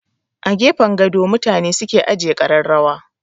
A gefen gado mutane suke ajiye kararrawa.